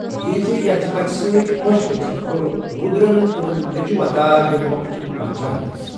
یِہنٛزِ یژھِ پژھِ سۭتۍخۄش گٔژِھتھ، کوٚر روٗدرن تِمن نیٚچُو عطا ییٚمہ مۄکھٕ تِم کانچھان ٲسۍ۔